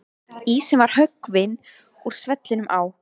Ísinn var höggvinn úr svellinu á